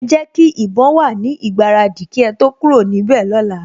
Ẹ jẹ́ kí ìbọn wà fún ìgbáradì kí ẹ tó kúrò níbẹ̀ lọ́la